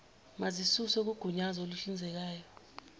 mazisuswe kugunyazo oluhlinzekayo